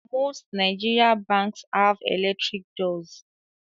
Most Nigerian Banks have electric doors